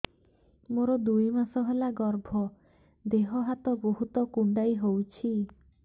ମୋର ଦୁଇ ମାସ ହେଲା ଗର୍ଭ ଦେହ ହାତ ବହୁତ କୁଣ୍ଡାଇ ହଉଚି